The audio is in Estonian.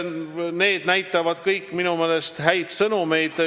Need on minu meelest kõik head sõnumid.